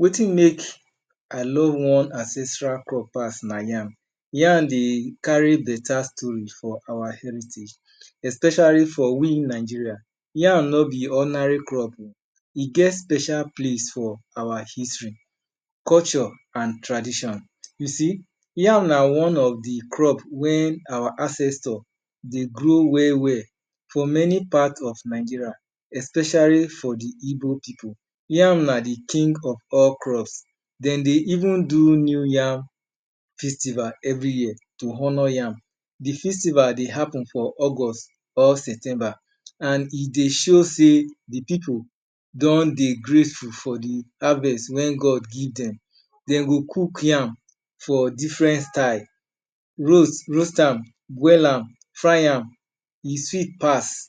Wetin make I love one ancestral crop pass na yam. Yam dey carry beta story for our heritage, especially for we in Nigeria. Yam no be ordinary crop, e get special place for our history, culture, an tradition. You see, yam na one of the crop wey our ancestor dey grow well-well for many part of Nigeria, especially for the Igbo pipu. Yam na the king of all crops. De dey even do New Yam Festival every year. to honour yam. The festival dey happen for August, or September. An e dey show sey the pipu don dey grateful for the harvest wey God give dem. Dem go cook yam for different style: roast am, am, fry am, e sweet pass.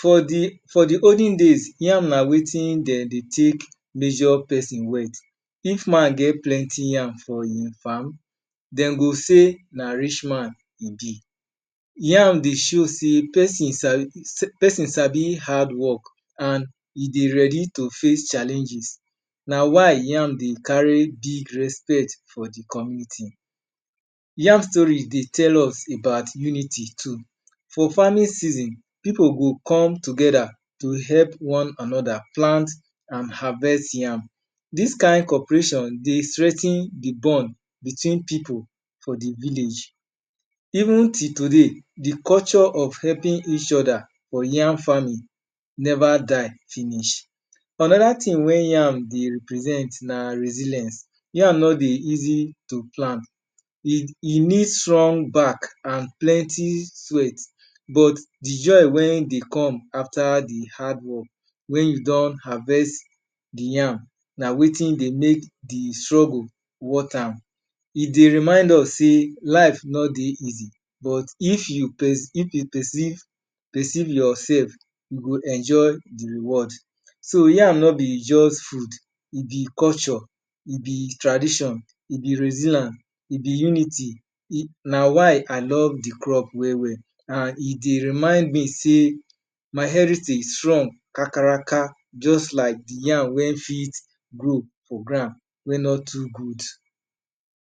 For the, For the olden days, yam na wetin de dey take measure peson wealth. If man get plenty yam for ein farm, de go say na rich man e be. Yam dey show sey peson sabi hardwork, an e dey ready to face challenges. Na why yam dey carry big respect for the community. Yam story dey tell us about unity too. For farming season, pipu go come together, to help one another plant an harvest yam. Dis kain cooperation dey strengthen the bond between pipu for the village. Even till today, the culture of helping each other for yam farming neva die finish. Another tin wey yam dey represent na resilience. Yam no dey easy to plant E need strong back an plenty sweat. But the joy wey dey come after the hardwork wen you don harvest the yam, na wetin dey make the struggle worth am. E dey remind us sey life no dey easy. But if you percieve yoursef you go enjoy the reward. So, yam no be juz food, e be culture, e be tradition, e be, e be unity. Na why I love the crop well-well. An e dey remind me sey my heritage strong kakaraka juz like the yam wey fit grow for ground wey no too good.